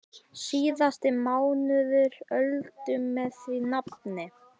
Síðasti mánuður Öldu með því nafni.